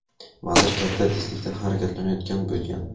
vazir katta tezlikda harakatlanayotgan bo‘lgan.